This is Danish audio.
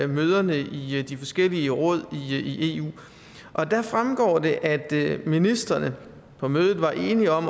møderne i de forskellige råd i eu og der fremgår det at ministrene på mødet var enige om